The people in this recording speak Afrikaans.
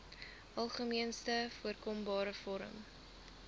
algemeenste voorkombare vorm